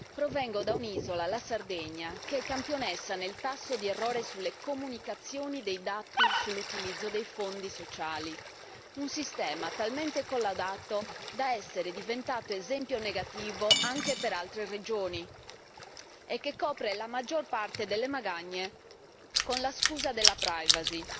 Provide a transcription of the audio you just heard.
Provengo da un'isola, la Sardegna, che è campionessa nel tasso di errore sulle comunicazioni dei dati sull'utilizzo dei fondi sociali, un sistema talmente collaudato da essere diventato esempio negativo anche per altre regioni e che copre la maggior parte delle magagne con la scusa della privacy.